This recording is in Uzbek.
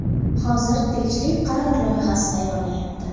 Hozir tegishli qaror loyihasi tayyorlanayapti.